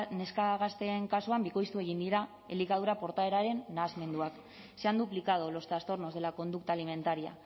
neska gazteen kasuan bikoiztu egin dira elikadura portaeraren nahasmenduak se han duplicado los trastornos de la conducta alimentaria